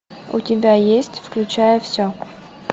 у тебя есть включая все